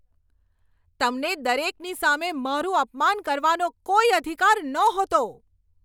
તમને દરેકની સામે મારું અપમાન કરવાનો કોઈ અધિકાર નહોતો.